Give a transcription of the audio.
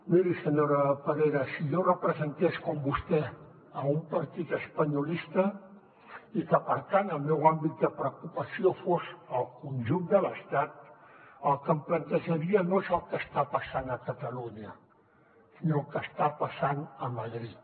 miri senyora parera si jo representés com vostè a un partit espanyolista i que per tant el meu àmbit de preocupació fos el conjunt de l’estat el que em plantejaria no és el que està passant a catalunya sinó què està passant a madrid